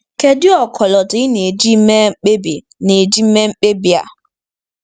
Kedu ọkọlọtọ ị na-eji mee mkpebi na-eji mee mkpebi a?